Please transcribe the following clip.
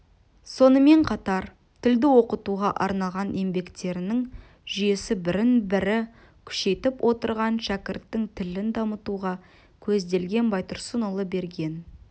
сонымен қатар тілді оқытуға арналған еңбектерінің жүйесі бірін-бірі күшейтіп отырған шәкірттің тілін дамытуға көзделген байтұрсынұлы берген